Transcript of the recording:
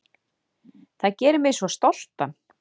Það gerir mig svo stoltan.